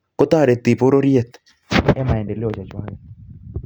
chepkondok